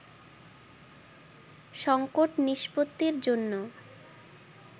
সংকট নিষ্পত্তির জন্য